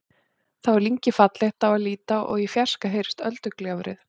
Þá er lyngið fallegt á að líta og í fjarska heyrist öldugjálfrið.